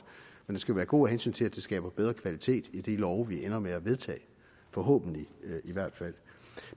men lovgivningsprocessen skal være god af hensyn til at det skaber bedre kvalitet i de love vi ender med at vedtage forhåbentlig i hvert fald